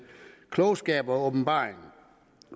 klogskab og åbenbaring